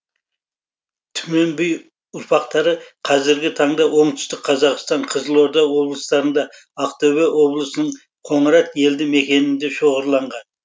түмен би ұрпақтары қазіргі таңда оңтүстік қазақстан қызылорда облыстарында ақтөбе облысының қоңырат елді мекенінде шоғырланған